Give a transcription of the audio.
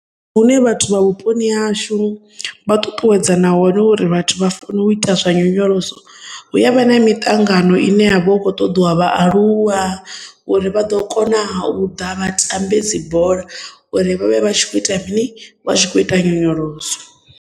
Ndi hune vhathu vha vhuponi hashu vha ṱuṱuwedza na hone uri vhathu vha fanela u ita zwa nyonyoloso hu ya vha na miṱangano ine ya vha u khou ṱoḓiwa vha aluwa uri vha ḓo kona u ḓa vha tambe dzi bola uri vhavhe vha tshi kho ita mini vha tshi kho ita nyonyoloso.